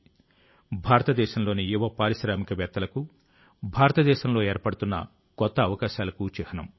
ఇది భారతదేశంలోని యువ పారిశ్రామికవేత్తలకు భారతదేశంలో ఏర్పడుతున్న కొత్త అవకాశాలకు చిహ్నం